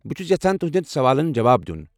بہٕ چھس یژھان تہنٛدٮ۪ن سوالن جواب دیُن۔